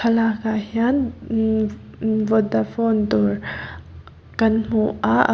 lakah hian imm imm vodafone dawr kan hmu a.